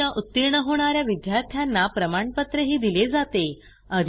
परीक्षा उतीर्ण होणा या विद्यार्थ्यांना प्रमाणपत्रही दिले जाते